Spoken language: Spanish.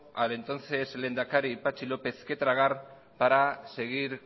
al entonces lehendakaripatxi lópez que tragar para seguir